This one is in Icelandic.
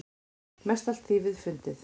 Mestallt þýfið er fundið.